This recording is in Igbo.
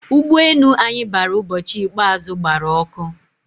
ụgbọ enu anyi bara ubochi ikpeazu gbara ọkụ